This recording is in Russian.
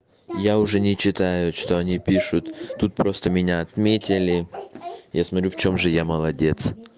я уже не читаю что они пишут тут просто меня отметили я смотрю в чём же я молодец